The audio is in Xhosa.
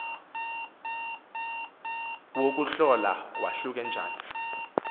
wokuhlola wahluke njani